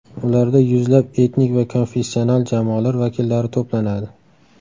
Ularda yuzlab etnik va konfessional jamoalar vakillari to‘planadi.